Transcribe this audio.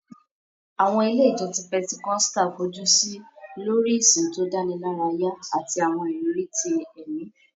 Àwọn ilé ìjọsìn Pentecostal fojú sí lórí ìsìn tó dánilárayá àti àwọn ìrírí ti ẹ̀mí